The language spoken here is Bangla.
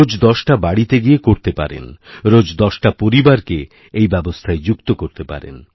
রোজ দশটা বাড়িতে গিয়ে করতে পারেন রোজ দশটা পরিবারকে এইব্যবস্থায় যুক্ত করে করতে পারেন